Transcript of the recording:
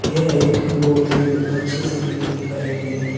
यह एक बहुत ही हमे अच्छी सी इमेज दिखाई गई है ।